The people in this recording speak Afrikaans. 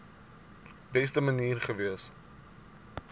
beste manier gewees